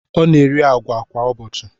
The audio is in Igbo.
Ọ na-eri agwa kwa ụbọchị.